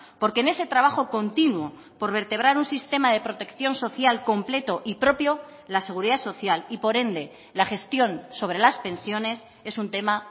porque en ese trabajo continuo por vertebrar un sistema de protección social completo y propio la seguridad social y por ende la gestión sobre las pensiones es un tema